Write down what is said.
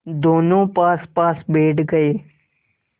दोेनों पासपास बैठ गए